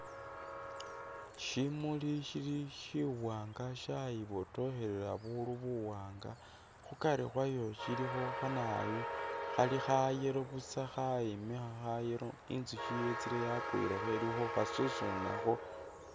Shimuli shili shiwanga shayibotokhelela buru buwanga, khukari khwayo shilikho khanawoyu khali kha yellow busa khayimikha kha yellow, inzushi yetsile yakwilekho ili khukhasusunakho.